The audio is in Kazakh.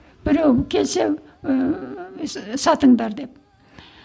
біреу келсе ыыы сатыңдар деп